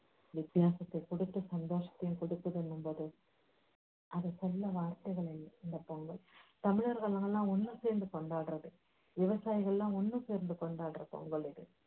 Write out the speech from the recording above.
வித்தியாசத்தைக் கொடுத்து சந்தோஷத்தையும் கொடுக்குதுங்கும்போது அதை சொல்ல வார்த்தைகளில்லை இந்த பொங்கல் தமிழர்கள் என்னென்னா ஒண்ணு சேர்ந்து கொண்டாடுறது விவசாயிகளெல்லாம் ஒண்ணு சேர்ந்து கொண்டாடுறது இந்த பொங்கல்